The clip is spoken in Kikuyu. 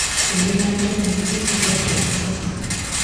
Thiĩ na mbere na gĩbindi kĩrĩa kĩrabuata